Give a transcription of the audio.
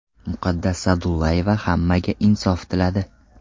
Muqaddas Sa’dullayeva hammaga insof tiladi.